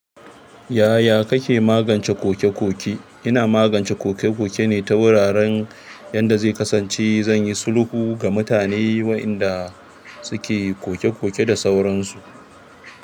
Yaya kake magance koke-koke? Ina magance koke-koke ne ta wuraren yanda zai kasance zan yi sulhu ga mutane wa'inda suke koke-koke da sauransu.